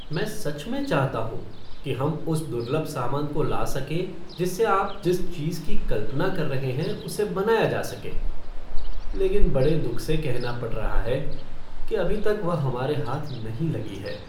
मैं सच में चाहता हूँ कि हम उस दुर्लभ सामान को ला सकें जिससे आप जिस चीज की कल्पना कर रहे हैं, उसे बनाया जा सके, लेकिन बड़े दुख से कहना पड़ रहा है कि अभी तक वह हमारे हाथ नहीं लगी है।